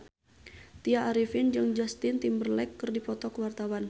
Tya Arifin jeung Justin Timberlake keur dipoto ku wartawan